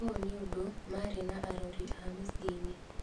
ũũ nĩũndu maari na arori a mĩcĩĩnĩ